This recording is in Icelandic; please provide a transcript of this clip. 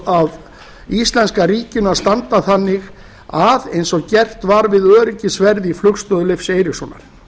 af íslenska ríkinu að standa að eins og gert var við öryggisverði í flugstöð leifs eiríkssonar